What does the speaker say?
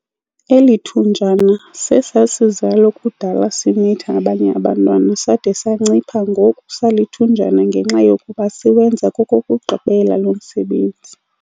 Eli thunjana sesasizalo kudala simitha abanye abantwana sade sancipha ngoku salithunjana ngenxa yokuba siwenza kokokugqibela lo msebenzi.